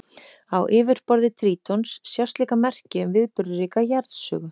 Á yfirborði Trítons sjást líka merki um viðburðaríka jarðsögu.